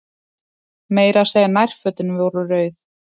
Meira að segja nærfötin voru rauð.